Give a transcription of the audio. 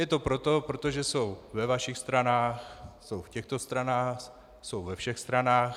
Je to proto, protože jsou ve vašich stranách, jsou v těchto stranách, jsou ve všech stranách.